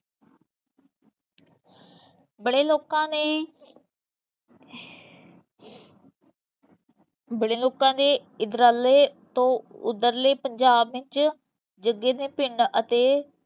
ਬੜੇ ਲੋਕਾਂ ਨੇ ਬੜੇ ਲੋਕਾਂ ਦੇ ਇਧਰਲੇ ਤੋਂ ਓਧਰਲੇ ਪੰਜਾਬ ਵਿਚ ਜੱਗੇ ਦੇ ਪਿੰਡ ਅਤੇ